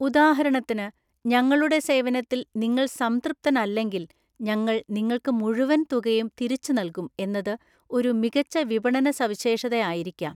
ഉദാഹരണത്തിന്, ഞങ്ങളുടെ സേവനത്തിൽ നിങ്ങൾ സംതൃപ്തനല്ലെങ്കിൽ ഞങ്ങൾ നിങ്ങൾക്ക് മുഴുവൻ തുകയും തിരിച്ചുനല്കും എന്നത് ഒരു മികച്ച വിപണനസവിശേഷത ആയിരിക്കാം.